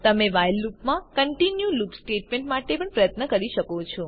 તમે વ્હાઇલ લુપમાં continue loop statement માટે પણ પ્રયત્ન કરી શકો છો